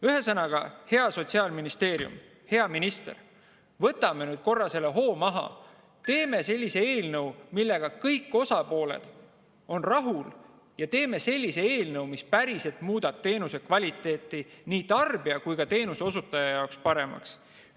Ühesõnaga, hea Sotsiaalministeerium, hea minister, võtame korra hoo maha, teeme sellise eelnõu, millega kõik osapooled on rahul, ja teeme sellise eelnõu, mis päriselt muudab teenuse kvaliteeti nii tarbija kui ka teenuse osutaja jaoks paremaks.